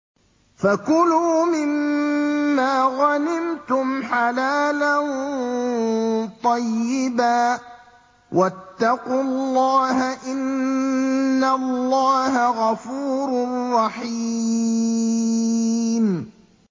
فَكُلُوا مِمَّا غَنِمْتُمْ حَلَالًا طَيِّبًا ۚ وَاتَّقُوا اللَّهَ ۚ إِنَّ اللَّهَ غَفُورٌ رَّحِيمٌ